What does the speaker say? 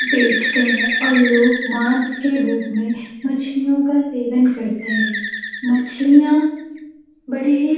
बेचते हैं और लोग मांस के रूप में मछलियों का सेवन करते हैं मछलियां बड़ी ही --